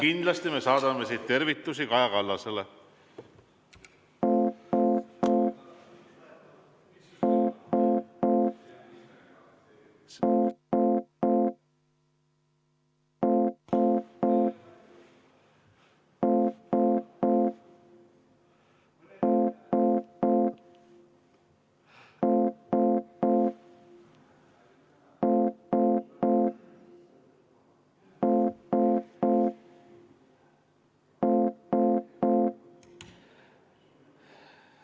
Kindlasti me saadame siit tervitusi Kaja Kallasele.